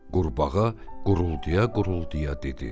Qurbağa quruldaya-quruldaya dedi: